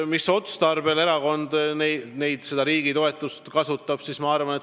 Mis otstarbel erakond riigi toetust kasutab?